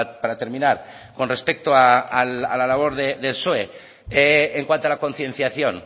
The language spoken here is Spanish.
para terminar con respecto a la labor del psoe en cuanto a la concienciación